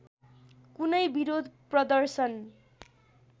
कुनै बिरोध प्रदर्शन